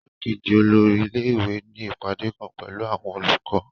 Ìgbàkejì olórí ilé ìwé ní ìpàdé kan pẹ̀lú àwọn olùkọ́